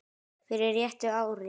fyrir réttu ári.